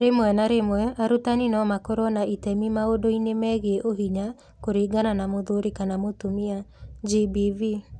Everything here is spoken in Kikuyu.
Rĩmwe na rĩmwe, arutani no makorũo na itemi maũndũ-inĩ megiĩ Ũhinya kũringana na mũthuri kana mũtumia (GBV).